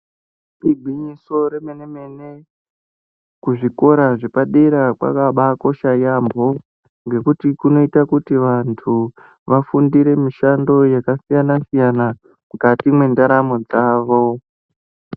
Igwinyiso remene mene kuzvikora zvepadera kwakabaakosha yaampho ngekuti kunoite kuti vanthu vafundire mishando yakasiyana siyana mukati mwendaramo dzawo.